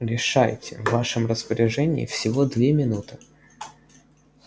решайте в вашем распоряжении всего две минуты